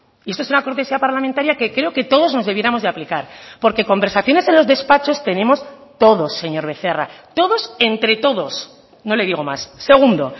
y esto es una cortesía parlamentaria que creo que todos nos debiéramos de aplicar porque conversaciones en los despachos tenemos todos señor becerra todos entre todos no le digo más segundo